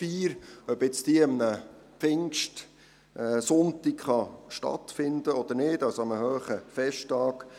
Es ging dabei um die Frage, ob sie an einem Pfingstsonntag stattfinden darf oder nicht, also an einem hohen Festtag.